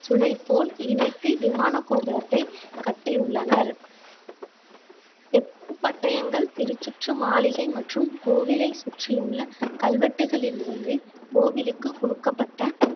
சுளைபோல் இணைத்து விமான கோபுரத்தை கட்டியுள்ளனர் செப்பு பட்டயங்கள் திருச்சுற்று மாளிகை மற்றும் கோவிலை சுற்றியுள்ள கல்வெட்டுகளில் இருந்து கோவிலுக்கு கொடுக்கப்பட்ட